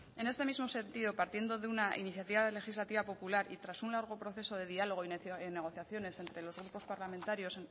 en este mismo sentido partiendo de una iniciativa legislativa popular y tras un largo proceso de diálogo y negociaciones entre los grupos parlamentarios